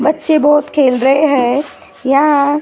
बच्चे बहोत खेल रहे है यहां--